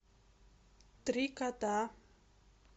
три кота